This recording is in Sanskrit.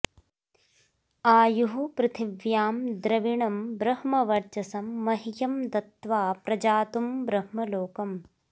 आयुः पृथिव्यां द्रविणं ब्र॑ह्मव॒र्च॒सं॒ मह्यं दत्त्वा प्रजातुं ब्र॑ह्मलो॒कम्